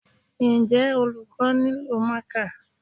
Njẹ́ olùkọ́ nílò marker?